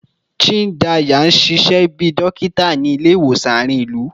Chindaya n ṣiṣẹ bi dokita ni ile-iwosan aarin ilu